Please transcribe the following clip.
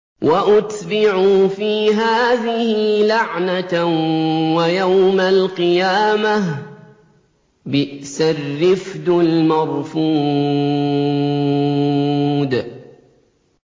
وَأُتْبِعُوا فِي هَٰذِهِ لَعْنَةً وَيَوْمَ الْقِيَامَةِ ۚ بِئْسَ الرِّفْدُ الْمَرْفُودُ